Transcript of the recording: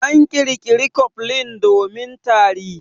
An ƙirƙira cofflin domin tari.